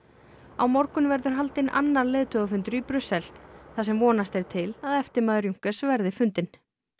á morgun verður haldinn annar leiðtogafundur í Brussel þar sem vonast er til að eftirmaður verði fundinn